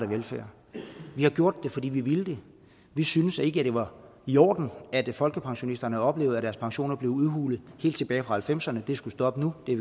velfærd vi har gjort det fordi vi ville det vi syntes ikke at det var i orden at folkepensionisterne oplevede at deres pensioner blev udhulet helt tilbage fra nitten halvfemserne det skulle stoppe nu det